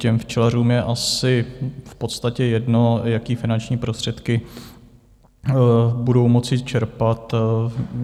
Těm včelařům je asi v podstatě jedno, jaké finanční prostředky budou moci čerpat.